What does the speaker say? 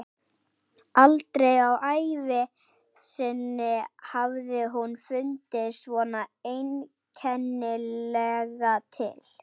Aldrei á ævi sinni hafði hún fundið svona einkennilega til.